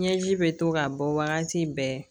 Ɲɛji bɛ to ka bɔ wagati bɛɛ